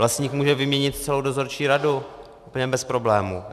Vlastník může vyměnit celou dozorčí radu úplně bez problémů.